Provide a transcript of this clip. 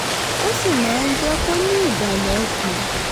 ó sì máa ń jẹ́ kó ní ìbàlẹ̀ ọkàn